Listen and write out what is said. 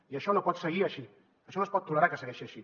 i això no pot seguir així això no es pot tolerar que segueixi així